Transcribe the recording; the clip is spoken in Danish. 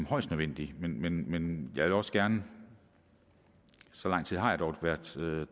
højst nødvendigt men jeg vil også gerne så lang tid har jeg dog været